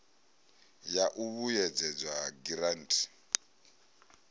ya u vhuedzedzwa ha giranthi